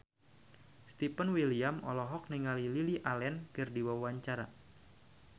Stefan William olohok ningali Lily Allen keur diwawancara